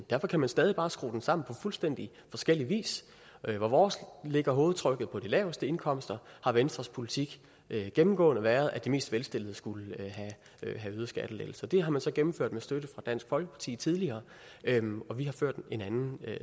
derfor kan man stadig bare skrue den sammen på fuldstændig forskellig vis vores lægger hovedfokus laveste indkomster og venstres politik har gennemgået været at de mest velstillede skulle have øgede skattelettelser det har man så gennemført med støtte fra dansk folkeparti tidligere og vi har ført en anden